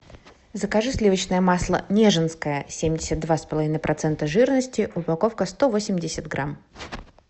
закажи сливочное масло нежинское семьдесят два с половиной процента жирности упаковка сто восемьдесят грамм